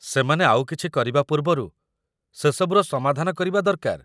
ସେମାନେ ଆଉକିଛି କରିବା ପୂର୍ବରୁ ସେସବୁର ସମାଧାନ କରିବା ଦରକାର ।